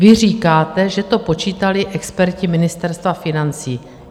Vy říkáte, že to počítali experti Ministerstva financí.